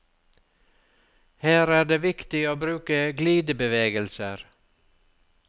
Her er det viktig å bruke glidebevegelser.